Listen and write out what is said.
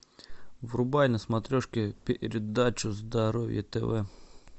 врубай на смотрешке передачу здоровье тв